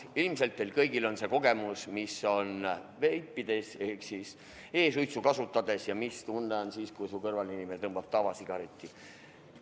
Ilmselt teil kõigil on see kogemus, mis tunne on, kui keegi sinu kõrval veibib ehk e-suitsu tõmbab, ja mis tunne on siis, kui su kõrval inimene tõmbab tavasigaretti.